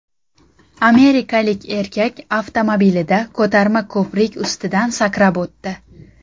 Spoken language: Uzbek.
Amerikalik erkak avtomobilida ko‘tarma ko‘prik ustidan sakrab o‘tdi.